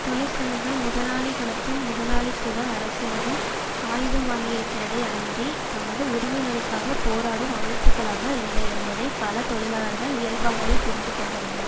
தொழிற்சங்கங்கள் முதலாளிகளதும் முதலாளித்துவ அரசினதும் ஆயுதமாகியிருக்கிறதே அன்றி தமது உரிமைகளுக்காக போராடும் அமைப்புகளாக இல்லை என்பதை பல தொழிலாளர்கள் இயல்பாகவே புரிந்துகொண்டுள்ளனர்